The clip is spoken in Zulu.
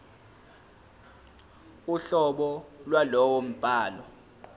uhlobo lwalowo mbhalo